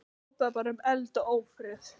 Hrópaði bara um eld og ófrið.